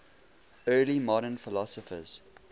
early modern philosophers